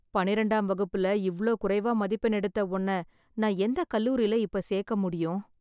பன்னிரெண்டாம் வகுப்புல இவ்ளோ குறைவா மதிப்பெண் எடுத்தா உன்னய நான் எந்த கல்லூரில இப்ப சேர்க்க முடியும்?